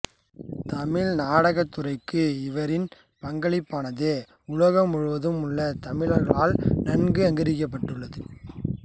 தமிழ் நடகத் துறைக்கு இவரின் பங்களிப்பானது உலகம் முழுவதும் உள்ள தமிழர்களால் நன்கு அங்கீகரிக்கப்பட்டுள்ளது